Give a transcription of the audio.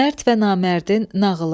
Mərd və Namərdin nağılı.